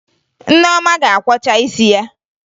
Nneoma ga-akwọcha isi ya